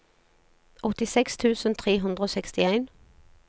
åttiseks tusen tre hundre og sekstien